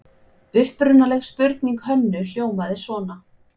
Upprunaleg spurning Hönnu hljómaði svona: